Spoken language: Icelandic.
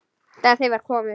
Þegar heim var komið.